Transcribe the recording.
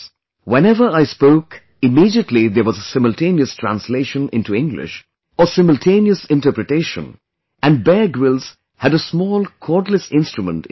Whenever I spoke immediately there was a simultaneous translation into English or simultaneous interpretation and Bear Grylls had a small cordless instrument in his ear